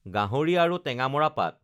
গাহৰি আৰু টেঙামৰা পাত